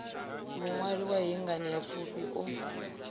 muṅwali wa hei nganeapfufhi u